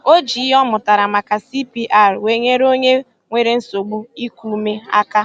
O ji ihe ọ mụtara maka CPR wee nyere onye nwere nsogbu iku ume aka